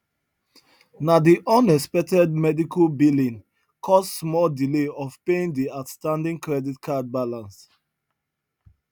na di unexpected medical billing cause small delay of paying di outstanding credit card balance